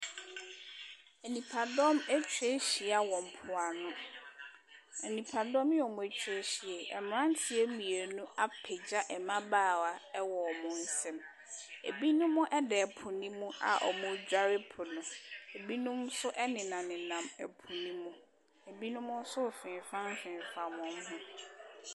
Nnipa dɔm atwa ahyia wɔ mpo ano. Nnipa dɔm yi a ɔmo atwa ahyia yi, mmranteɛ mmienu apagya mmabaawa ɛwɔ ɔmo nsam. Ebinom ɛda ɛpo ne'm a ɔmo dware po no. Ebinom nso nam ɛpo no mu, ebinom nso ɛfimfam fimfam wɔmmo ho.